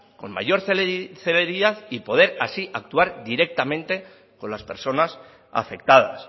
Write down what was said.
con mayor celeridad y poder así actuar directamente con las personas afectadas